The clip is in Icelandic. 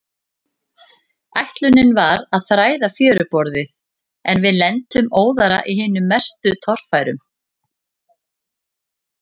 Ætlunin var að þræða fjöruborðið, en við lentum óðara í hinum mestu torfærum.